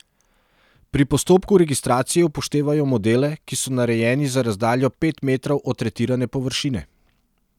Pri postopku registracije upoštevajo modele, ki so narejeni za razdaljo pet metrov od tretirane površine.